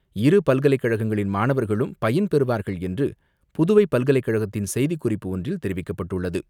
இருப்பல்கலைக்கழகங்களின் மாணவர்களும் பயன்பெறுவார்கள் என்று புதுவை பல்கலைக்கழகத்தின் செய்திக்குறிப்பு ஒன்றில் தெரிவிக்கப்பட்டுள்ளது.